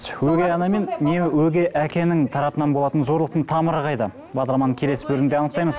өгей ана мен не өгей әкенің тарапынан болатын зорлықтың тамыры қайда бағдарламаның келесі бөлімінде анықтаймыз